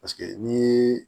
Paseke ni